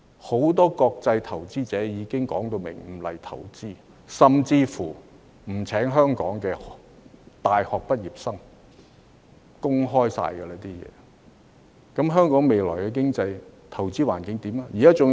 很多國際投資者已明言不會前來香港投資，甚至不會聘請香港的大學畢業生，這些全是已公開的事實，那麼，香港未來的經濟和投資環境會變成怎樣？